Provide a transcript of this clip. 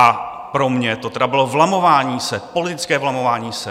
A pro mě to tedy bylo vlamování se, politické vlamování se.